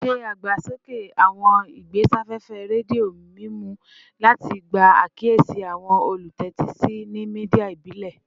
Se agbasoke awọn igbesafefe redio mimu lati gba akiyesi awọn olutẹtisi ni media ibile